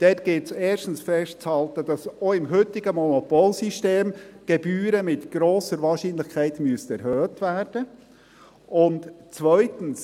Diesbezüglich gilt es erstens festzuhalten, dass die Gebühren auch im heutigen Monopolsystem mit grosser Wahrscheinlichkeit erhöht werden müssten, und zweitens: